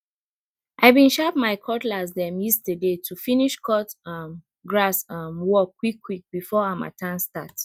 i bin sharp my cutlass dem yeaterday to finish cut um grass um work quick quick before harmattan start